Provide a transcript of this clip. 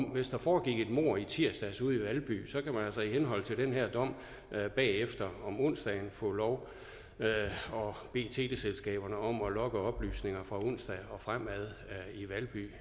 hvis der foregik et mord i tirsdags ude i valby så kan man altså i henhold til den her dom bagefter om onsdagen få lov at bede teleselskaberne om at logge oplysninger fra onsdag og fremad i valby